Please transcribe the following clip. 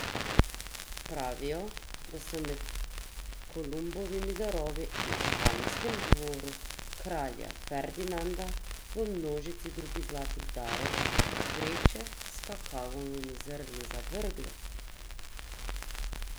Pravijo, da so med Kolumbovimi darovi na španskem dvoru kralja Ferdinanda v množici drugih zlatih darov vreče s kakavovimi zrni zavrgli!